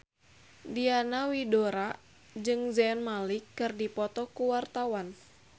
Diana Widoera jeung Zayn Malik keur dipoto ku wartawan